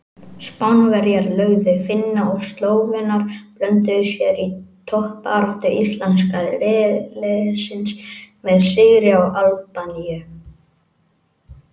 Spánverjar lögðu Finna og Slóvenar blönduðu sér í toppbaráttu íslenska riðilsins með sigri á Albaníu.